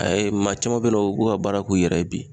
A y'a ye maa caman be yen nɔ o b'o ka baara k'u yɛrɛ ye bi